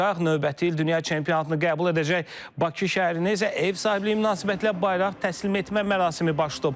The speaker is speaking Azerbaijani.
Növbəti il dünya çempionatını qəbul edəcək Bakı şəhərinə isə ev sahibliyi münasibətilə bayraq təhvil etmə mərasimi baş tutub.